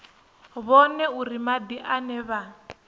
vhone uri madi ane vha